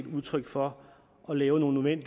udtryk for at lave nogle